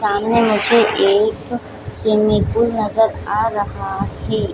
सामने मुझे एक स्विम्मिंग पूल नजर आ रहा हे।